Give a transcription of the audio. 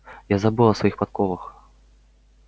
я забыл о своих подковах